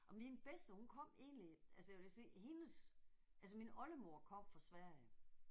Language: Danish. Og min bedste hun kom egentlig altså jeg vil da sige hendes altså min oldemor kom fra Sverige